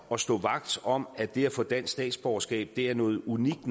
og stå vagt om at det at få dansk statsborgerskab er noget unikt